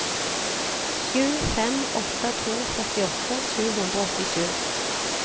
sju fem åtte to førtiåtte sju hundre og åttisju